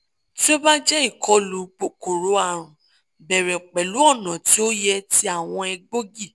ti o ba jẹ ikolu kokoro-arun bẹrẹ pẹlu ọna ti o yẹ ti awọn egboogi